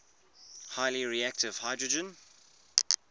highly reactive hydrogen